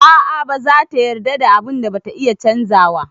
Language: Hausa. A'a ba zata yarda da abun da bata iya canzawa.